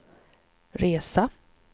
resa